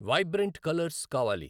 vibrant colours కావాలి